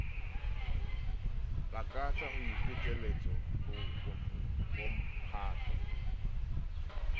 lakatsa ho ipiletsa ho bomphato